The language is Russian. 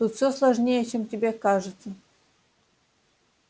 тут все сложнее чем тебе кажется